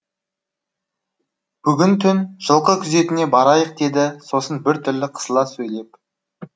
бүгін түн жылқы күзетіне барайық деді сосын біртүрлі қысыла сөйлеп